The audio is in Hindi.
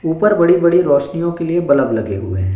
ऊपर बड़ी बड़ी रोशनियों के लिए बल्ब लगे हुए हैं।